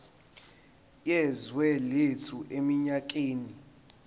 yezwe lethu eminyakeni